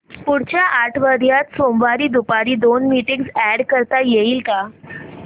पुढच्या आठवड्यात सोमवारी दुपारी दोन मीटिंग्स अॅड करता येतील का